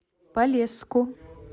полесску